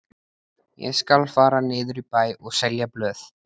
Ég skal fara niður í bæ og selja blöð.